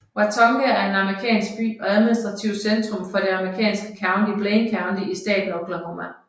Watonga er en amerikansk by og administrativt centrum for det amerikanske county Blaine County i staten Oklahoma